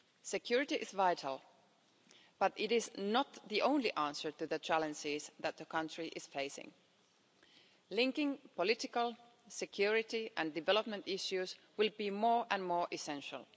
Security is vital but it is not the only answer to the challenges that the country is facing. Linking political, security and development issues will be more and more essential.